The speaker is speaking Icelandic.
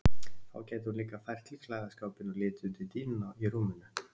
Þá gæti hún líka fært til klæðaskápinn og litið undir dýnuna í rúminu.